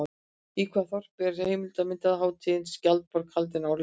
Í hvaða þorpi er heimildarmyndarhátíðin Skjaldborg haldin árlega?